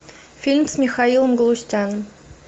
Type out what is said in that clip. фильм с михаилом галустяном